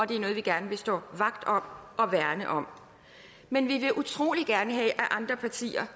det er noget vi gerne vil stå vagt om og værne om men vi vil utrolig gerne have at andre partier